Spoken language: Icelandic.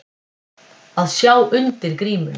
Að sjá undir grímuna